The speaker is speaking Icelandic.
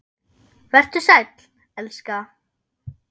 Vertu sæll, elska.